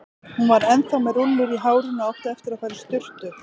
Hún var ennþá með rúllur í hárinu og átti eftir að fara í sturtu.